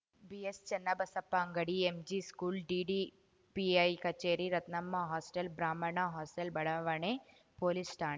BS Chennabasappa ಅಂಗಡಿ MG school DDPI ಕಚೇರಿ Ratnamma hostel ಬ್ರಾಹ್ಮಣ ಹಾಸ್ಟೆಲ್‌ ಬಡಾವಣೆ ಪೊಲೀಸ್‌ ಠಾಣೆ